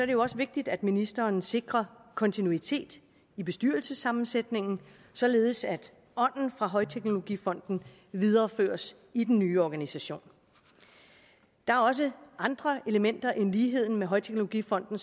det også vigtigt at ministeren sikrer kontinuitet i bestyrelsessammensætningen således at ånden fra højteknologifonden videreføres i den nye organisation der er også andre elementer end ligheden med højteknologifonden